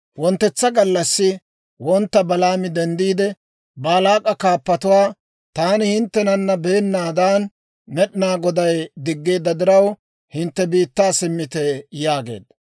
Wonttetsa gallassi wontta Balaami denddiide, Baalaak'a kaappatuwaa, «Taani hinttenana beennaadan Med'inaa Goday diggeedda diraw, hintte biittaa simmite» yaageedda.